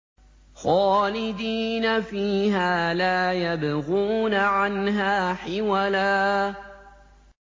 خَالِدِينَ فِيهَا لَا يَبْغُونَ عَنْهَا حِوَلًا